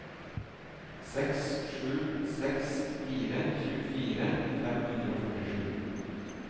seks sju seks fire tjuefire fem hundre og førtisju